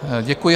Děkuji.